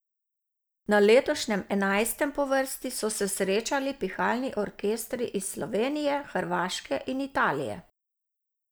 Na letošnjem, enajstem po vrsti, so se srečali pihalni orkestri iz Slovenije, Hrvaške in Italije.